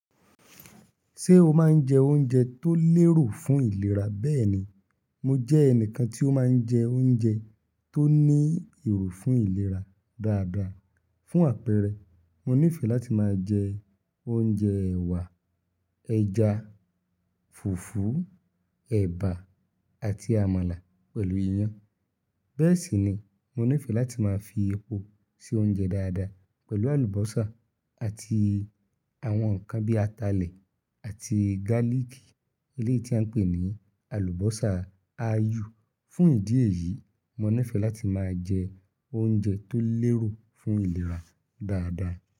Ṣé o máa ń jẹ oúnjẹ tó lérò fún ìlera? Bẹ́ẹ̀ni, mo jẹ́ ẹnìkan tí ó máa ń jẹ oúnjẹ tó ní èrò fún ìlera dáadáa. Fún àpẹẹrẹ, mo nífẹ̀ẹ́ láti máa jẹ oúnjẹ ẹ̀wà, ẹja, fùfú, ẹ̀bà àti àmàlà pẹ̀lú iyán. Bẹ́ẹ̀ sì ni mo nífẹ̀ẹ́ láti máa fi epo sí oúnjẹ dáadáa pẹ̀lú àlùbọ́sà àti àwọn ǹkan bíi atalẹ̀ àti gálìkì eléyìí tí à ń pè ní àlùbọ́sà ayù. Fún ìdí èyí, mo nífẹ̀ẹ́ láti máa jẹ oúnjẹ tó lérò fún ìlera dáadáa.